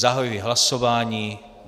Zahajuji hlasování.